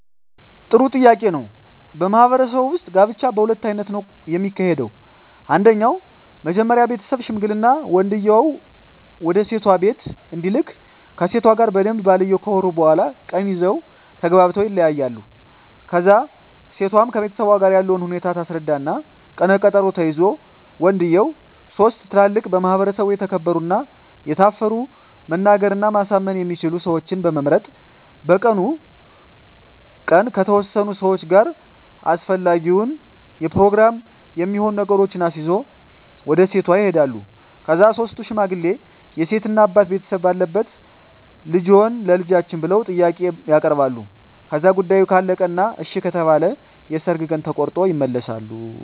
ጥሩ ጥያቄ ነው በማህበረሰቡ ውጥ ጋብቻ በሁለት አይነት ነው ከሚካሄደው አንደኛው መጀመሪ ቤተሠብ ሽምግልና ወንድየው ወደሴቷ ቢቤት እንዲልክ ከሴቷ ጋር በደንብ ባልየው ካወሩ በኋላ ቀን ይዘው ተግባብተው ይለያያሉ ከዛ እሴቷም ከቤተሠቧ ጋር ያለውን ሁኔታ ታስረዳ እና ቀነ ቀጠሮ ተይዞ ወንድየው ሥስት ትላልቅ በማህበረሰቡ የተከበሩ እና የታፈሩ መናገር እና ማሳመን የሚችሉ ሠወችን በመምረጥ በቀኑ ቀን ከተወሠኑ ሠዋች ጋር አሰፈላጊውን የፕሮግራም የሚሆኑ ነገሮችን አሲዞ ወደ ሴቷ ይሄዳሉ ከዛ ሥስቱ ሽማግሌ የሴት እናት አባት ቤተሰብ ባለበት ልደፈጅዎትን ቸልጃችን ብለው ጥያቄ ያበርባሉ ከዛ ጉዳዮ ካለቀ እና እሺ ከተባለ የሠርግ ቀን ተቆሮጦ ይመለሣሉ